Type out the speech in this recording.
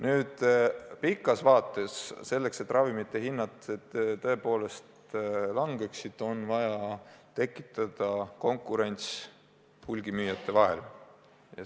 Nüüd, pikas vaates on selleks, et ravimite hinnad tõepoolest langeksid, vaja tekitada konkurents hulgimüüjate vahel.